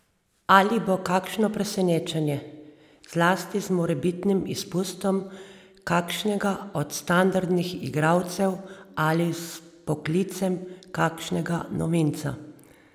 Ali bo kakšno presenečenje, zlasti z morebitnim izpustom kakšnega od standardnih igralcev, ali z vpoklicem kakšnega novinca?